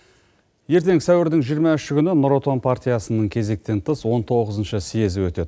ертең сәуірдің жиырма үші күні нұр отан партиясының кезектен тыс он тоғызыншы съезі өтеді